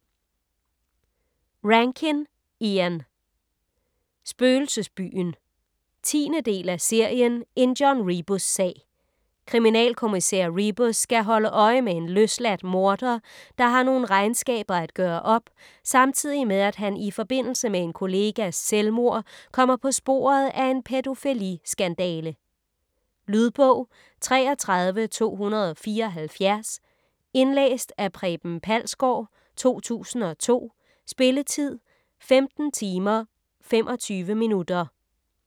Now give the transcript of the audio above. Rankin, Ian: Spøgelsesbyen 10. del af serien En John Rebus-sag. Kriminalkommissær Rebus skal holde øje med en løsladt morder, der har nogle regnskaber at gøre op, samtidig med at han i forbindelse med en kollegas selvmord kommer på sporet af en pædofili-skandale. Lydbog 33274 Indlæst af Preben Palsgaard, 2002. Spilletid: 15 timer, 25 minutter.